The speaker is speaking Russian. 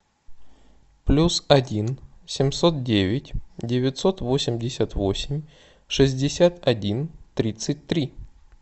плюс один семьсот девять девятьсот восемьдесят восемь шестьдесят один тридцать три